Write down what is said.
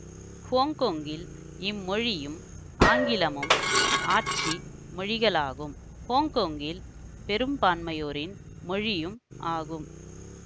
ஹொங்கொங்கில் இம்மொழியும் ஆங்கிலமும் ஆட்சி மொழிகளாகும் ஹொங்கொங்கில் பெரும்பான்மையோரின் மொழியும் ஆகும்